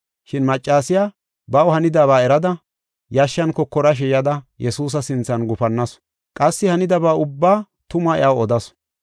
Shin maccasiya baw hanidaba erada, yashshan kokorashe yada Yesuusa sinthan gufannasu; qassi hanidaba ubbaa tumaa iyaw odasu.